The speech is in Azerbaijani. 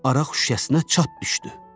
Araq şüşəsinə çat düşdü.